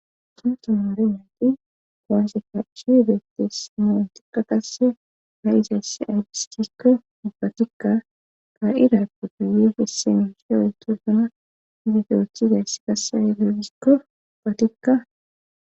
Sunta moore meti qoanse fachi beettisimoon tiqa qase ha'izayssi aygistikko ubatikka ka'irape duyefisse mishe oeto suna zifiyoothizayss qasse airagikko patikka.